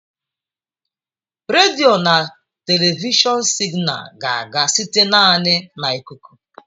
Redio na telivishọn signals ga-aga site naanị na ikuku.